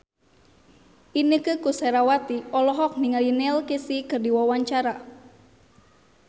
Inneke Koesherawati olohok ningali Neil Casey keur diwawancara